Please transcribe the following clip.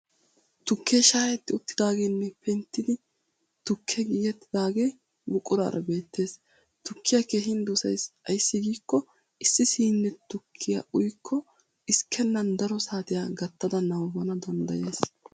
Tukke shhayetti uttidaageenne penttida tukkee tigettidaagee buquraara beettes. Tukkiya keehin dosayis ayssi giikko issi siine tukkiya uyikko xiskkenan daro saatiya uttada nabbabbana danddayayis.